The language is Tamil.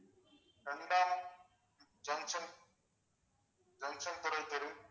ரெண்டாம் ஜங்ஷன் ஜங்ஷன் துறை தெரு